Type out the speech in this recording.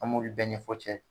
An m'olu bɛɛ ɲɛfo cɛ ye